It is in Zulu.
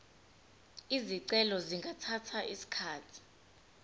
izicelo zingathatha isikhathi